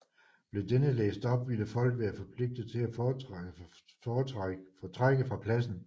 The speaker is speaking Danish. Blev denne læst op ville folk være forpligtet til at fortrække fra pladsen